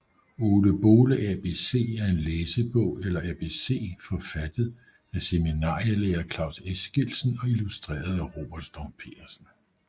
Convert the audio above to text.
Ole Bole ABC er en læsebog eller ABC forfattet af seminarielærer Claus Eskildsen og illustreret af Robert Storm Petersen